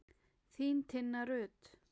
Þín, Tinna Rut.